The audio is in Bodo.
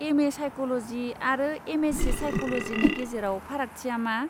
एम ए साइक'ल'जि आरो एम एस सि साइक'ल'जिनि गेजेराव फारागथिया मा?